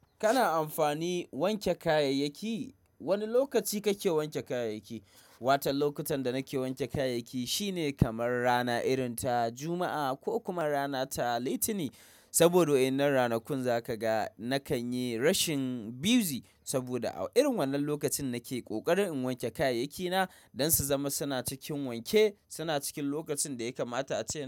Kana amfani wanke kayayyaki? Wane lokaci kake wanke kayayyaki? Watan lokutan da nake wanke kayayyaki shine kamar rana irinta Juma'a ko kuma rana ta Litinin. Saboda waɗannan ranakun za kaga nakan yi rashin busy saboda a irin wannan lokacin nake ƙoƙarin in wanke kayayyakina don su zama suna cikin wanke, suna cikin lokacin daya kamata ace na.